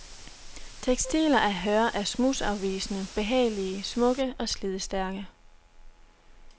Tekstiler af hør er smudsafvisende, behagelige, smukke og slidstærke.